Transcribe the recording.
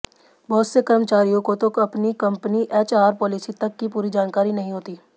बहुत से कर्मचारियों को तो अपनी कंपनी एचआर पॉलिसी तक की पूरी जानकारी नहीं होती